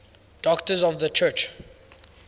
doctors of the church